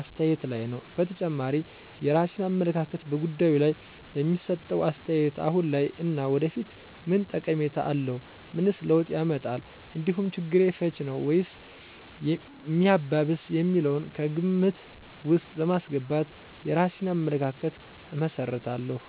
አስተያየት ላይ ነዉ። በተጨማሪም የራሴን አመለካከት በጉዳዩ ላይ በሚሰጠው አስተያየት አሁን ላይ እና ወደፊት ምን ጠቀሜታ አለው፣ ምንስ ለውጥ ያመጣል እንዲሁም ችግር ፈች ነዉ ወይስ ሚያባብስ የሚለውን ከግምት ውስጥ በማስገባት የራሴን አመለካከት እመሰርታለሁ።